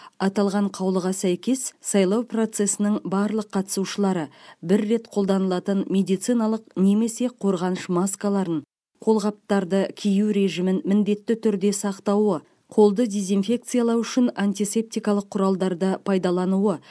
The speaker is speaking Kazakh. аталған қаулыға сәйкес сайлау процесінің барлық қатысушылары бір рет қолданылатын медициналық немесе қорғаныш маскаларын қолғаптарды кию режимін міндетті түрде сақтауы қолды дезинфекциялау үшін антисептикалық құралдарды пайдалануы